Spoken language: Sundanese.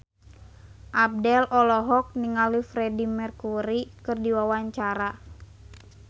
Abdel olohok ningali Freedie Mercury keur diwawancara